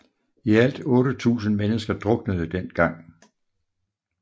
I alt 8000 mennesker druknede den gang